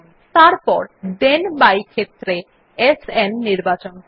তারপর then by ক্ষেত্রে সান নির্বাচন করুন